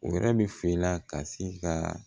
O yɛrɛ bi f'i la ka se ka